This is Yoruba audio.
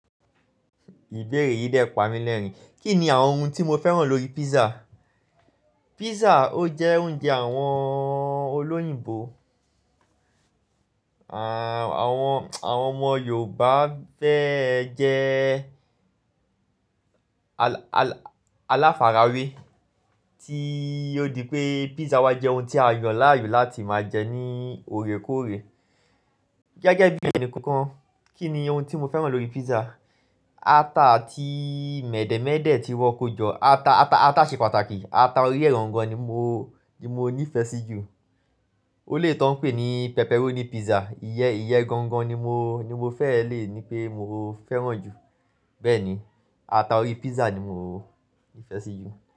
Ìbéèrè yìí dẹ́ pa mí lẹ́rìn-ín. Kí ni àwọn ohun tí mo fẹ́ràn lórí pizza? Pizza ó jẹ́ oúnjẹ àwọn olóyìnbó. Àwọn ọmọ Yorùbá fẹ́ ẹ jẹ aláfara wé tí ó di pé pizza wa jẹ́ ohun tí a yàn láàyò láti máa jẹ ní òrékọ́òrè. Gẹ́gẹ́ bí ẹni kankan, kí ni ohun tí mo fẹ́ràn lórí pizza? Ata àti mèdè̀médè̀ tí wọ́n kó jọ. Ata ṣe pàtàkì. Ata orí ẹ gan-gan ni mo ní ìfẹ́ sí ju. Ó lè tó ń pè ní pepperoni pizza. Iyen iyen gan-gan ni mo fẹ́ lè ní pé mo fẹ́ràn jù. Bẹ́ẹ̀ ni, ata orí pizza ni mo ní ìfẹ́ sí ju.